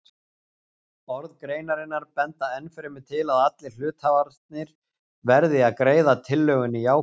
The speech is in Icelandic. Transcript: Orð greinarinnar benda ennfremur til að allir hluthafarnir verði að greiða tillögunni jákvæði.